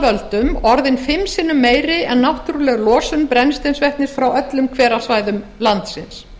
völdum orðin fimm sinnum meiri en náttúruleg losun brennisteinsvetnis frá öllum hverasvæðum landsins